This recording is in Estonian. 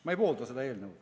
Ma ei poolda seda eelnõu.